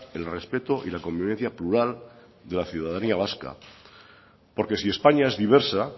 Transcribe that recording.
el respeto y la convivencia plural de la ciudadanía vasca porque si españa es diversa